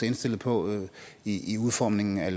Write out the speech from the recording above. indstillet på i udformningen af